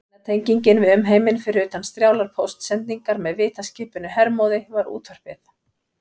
Eina tengingin við umheiminn, fyrir utan strjálar póstsendingar með vitaskipinu Hermóði, var útvarpið.